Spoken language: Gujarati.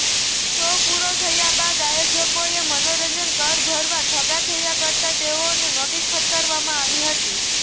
શો પૂરો થયા બાદ આયોજકોએ મનોરંજન કર ભરવા ઠાગાઠૈયા કરતા તેઓને નોટિસ ફટકારવામાં આવી હતી